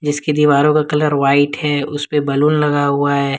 जिसकी दीवारों का कलर व्हाइट है उस पे बलून लगा हुआ है।